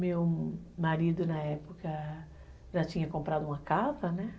Meu marido na época já tinha comprado uma casa, né?